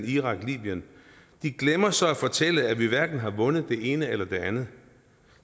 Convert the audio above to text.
irak og libyen de glemmer så at fortælle at vi hverken har vundet det ene eller det andet